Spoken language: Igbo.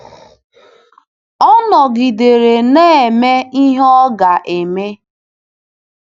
Ọ nọgidere na-eme ihe ọ ga-eme.